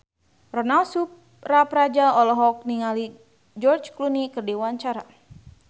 Ronal Surapradja olohok ningali George Clooney keur diwawancara